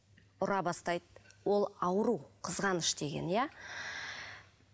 ұра бастайды ол ауру қызғаныш деген иә